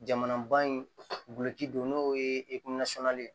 Jamanaban in guloki don n'o ye ye